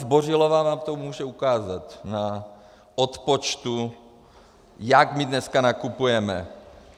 Zbořilová vám to může ukázat na odpočtu, jak my dneska nakupujeme.